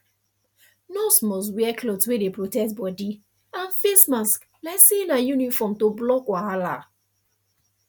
nurse must wear cloth wey dey protect body and face mask like say na uniform to block wahala